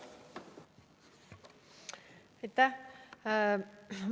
Aitäh!